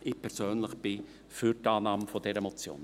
Ich persönlich bin für die Annahme der Motion.